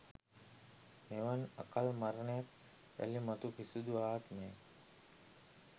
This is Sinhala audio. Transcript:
මෙවන් අකල් මරණයක් යළි මතු කිසිදු ආත්මයක